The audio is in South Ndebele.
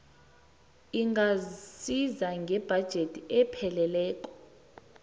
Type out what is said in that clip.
ingasiza ngebhajethi epheleleko